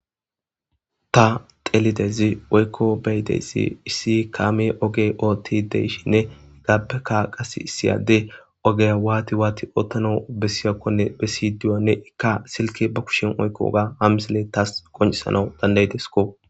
Ta xeellidaysi woyko beyidaysi,issi kaamey oge ootidi de'ishini,issi adey qasse oge waati waati ootanawkon bessiyakone bessidi,qasse silke be kushen oykidi de'iyaysa ha misiley qoncisesiko.